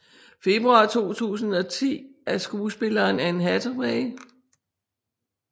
Februar 2010 af skuespilleren Anne Hathaway